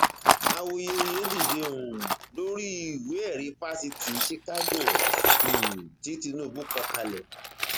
awuyewuye dìde um lórí ìwéẹrí fáṣítì chicago um tí tinubu kọ kalẹ